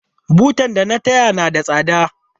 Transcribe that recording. Butar da na taya na da tsada.